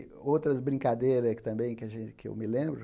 Outras brincadeiras também que a gen que eu me lembro,